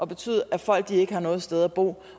betyde at folk ikke har noget sted at bo